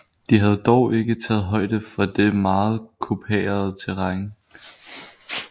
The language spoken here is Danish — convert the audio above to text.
De havde dog ikke taget højde for det meget kuperede terræn